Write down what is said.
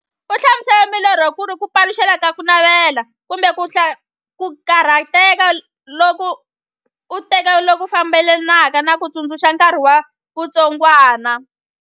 U hlamusele milorho kuri ku paluxeka ka kunavela, kumbe ku karhateka loku enteke loku fambelanaka na ku tsundzuka nkarhi wa vutsongwana.